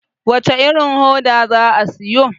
wacece irin hoda za a siyo?